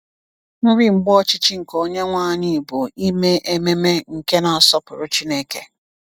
Nri Mgbe Ọchịchị nke Onyenwe anyị bụ Ime Ememe nke na-asọpụrụ Chineke.